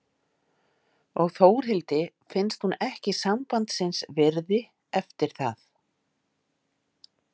Og Þórhildi finnst hún ekki sambandsins virði eftir það.